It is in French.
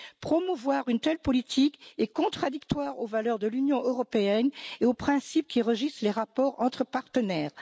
Promouvoir une telle politique est contradictoire aux valeurs de l'Union européenne et aux principes qui régissent les rapports entre partenaires.